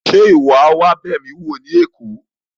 Ṣe iwọ a wa b'emi wo ni Èkó?